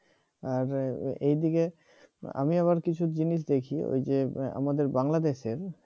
আর এদিকে আমি আবার কিছু জিনিস দেখি ওই যে আমাদের বাংলাদেশের